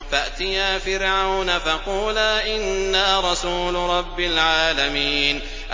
فَأْتِيَا فِرْعَوْنَ فَقُولَا إِنَّا رَسُولُ رَبِّ الْعَالَمِينَ